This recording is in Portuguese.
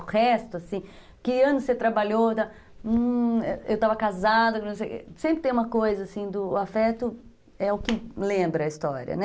O resto, assim, que ano você trabalhou, eu estava casada, sempre tem uma coisa assim, o afeto é o que lembra a história, né?